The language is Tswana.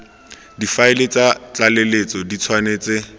difaele tsa tlaleletso di tshwanetse